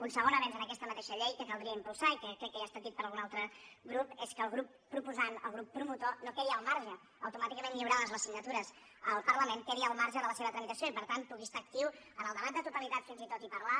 un segon avenç en aquesta mateixa llei que caldria impulsar i que crec que ja ha estat dit per algun altre grup és que el grup proposant el grup promotor no quedi al marge automàticament lliurades les signatures al parlament de la seva tramitació i per tant pugui estar actiu en el debat de totalitat fins i tot i parlar